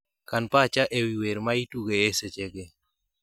Kan pacha ewi wer maitugo esechegi